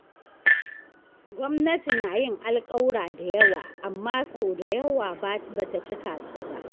Gwamnati na yin alkawura da yawa, amma sau da yawa ba ta cika su ba.